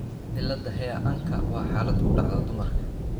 cillada HAIR ANka waa xaalad ku dhacda dumarka.